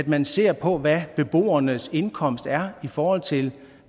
man ser på hvad beboernes indkomst er i forhold til